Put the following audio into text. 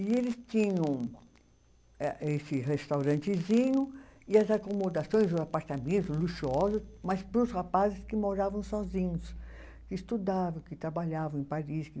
E eles tinham eh esse restaurantezinho e as acomodações, o apartamento, luxuosos, mas para os rapazes que moravam sozinhos, que estudavam, que trabalhavam em Paris.